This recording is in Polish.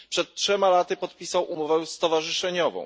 Przed trzema laty podpisał umowę stowarzyszeniową.